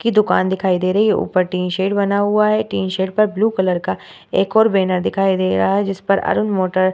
की दुकान दिखाई दे रही है ऊपर टिन शेड बना हुआ है टिन शेड पर ब्लू कलर का एक और बैनर दिखाई दे रहा है जिस पर अरुण मोटर --